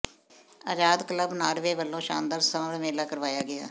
ਆਜ਼ਾਦ club Norway ਵੱਲੋਂ ਸ਼ਾਨਦਾਰ summer ਮੇਲਾ ਕਰਵਾਇਆ ਗਿਆ